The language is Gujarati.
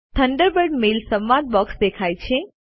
થંડરબર્ડ મેઇલ સંવાદ બોક્સ દેખાય છે